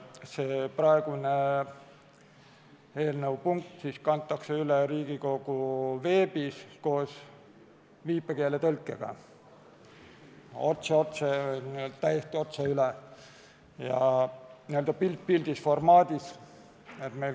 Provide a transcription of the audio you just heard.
See praegune eelnõu punkt kantakse Riigikogu veebis koos viipekeeletõlkega täiesti otse üle, n-ö pilt-pildis-formaadis.